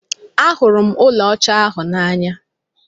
Ahụrụ m ụlọ ọcha ahụ n'anya.